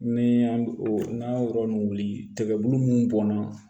Ni y'an o n'an y'o yɔrɔ ninnu wuli tigɛ bulu mun bɔnna